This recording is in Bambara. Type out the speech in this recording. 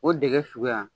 O dege suguya